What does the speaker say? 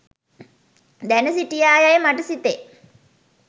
දැන සිටියා යැයි මට සිතේ.